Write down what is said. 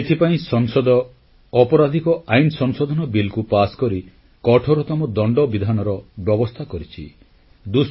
ଏଥିପାଇଁ ସଂସଦ ଅପରାଧିକ ଆଇନ ସଂଶୋଧନ ବିଲ୍ କୁ ପାସକରି କଠୋରତମ ଦଣ୍ଡ ବିଧାନର ବ୍ୟବସ୍ଥା କରିଛି